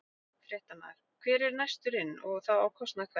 Fréttamaður: Hver er næstur inn og þá á kostnað hvers?